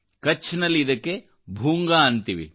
ಕಛ್ನಲ್ಲಿ ಇದಕ್ಕೆ ಭೂಂಗಾ ಎನ್ನುತ್ತೇವೆ